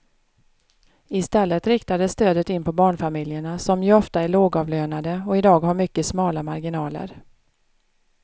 I stället riktas stödet in på barnfamiljerna som ju ofta är lågavlönade och i dag har mycket smala marginaler.